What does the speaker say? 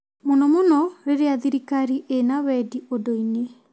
mũno mũno rĩrĩa thirikari ĩna wendi ũndũ-inĩ.